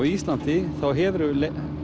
Íslandi þá hefurðu